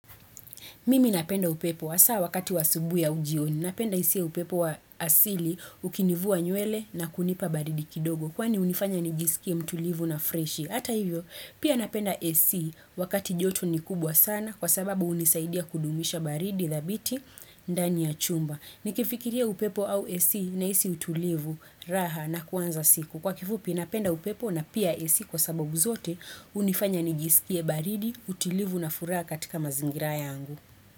Mimi napenda upepo hasaa wakati wa asubuhi au jioni. Napenda hisi upepo wa asili, ukinivua nywele na kunipa baridi kidogo. Kwani unifanya nijiskie mtulivu na freshi. Hata hivyo, pia napenda AC wakati joto ni kubwa sana kwa sababu hunisaidia kudumisha baridi dhabiti ndani ya chumba. Nikifikiria upepo au AC nahisi utulivu raha na kuanza siku. Kwa kifupi, napenda upepo na pia AC kwa sababu zote hunifanya nijiskie baridi, utulivu na furaha katika mazingira yangu.